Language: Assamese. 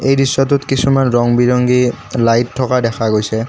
এই দৃশ্যটোত কিছুমান ৰং-বিৰঙী লাইট থকা দেখা গৈছে।